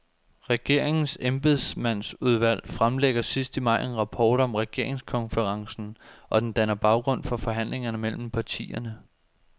Regeringens embedsmandsudvalg fremlægger sidst i maj en rapport om regeringskonferencen, og den danner baggrund for forhandlingerne mellem partierne.